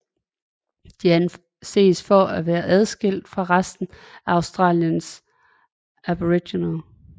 De anses at være adskilt fra resten af Australiens aboriginere